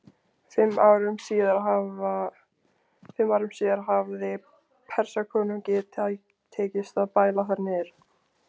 Fimm árum síðar hafði Persakonungi tekist að bæla þær niður.